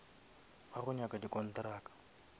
ba go nyaka di kontraka